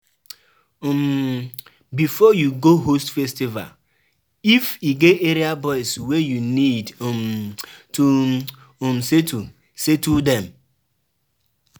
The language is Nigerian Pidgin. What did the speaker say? um Before you go host festival if e get area boys wey you need um to um settle, settle them